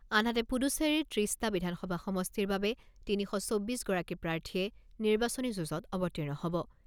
আনহাতে পুডুচেৰী ত্ৰিছটা বিধানসভা সমষ্টিৰ বাবে তিনি শ চৌব্বিছ গৰাকী প্ৰাৰ্থীয়ে নিৰ্বাচনী যুঁজত অৱতীৰ্ণ হ'ব।